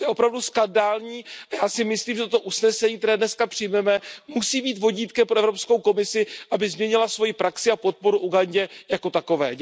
To je opravdu skandální a já si myslím, že toto usnesení, které dneska přijmeme, musí být vodítkem pro Evropskou komisi, aby změnila svoji praxi a podporu Ugandě jako takové.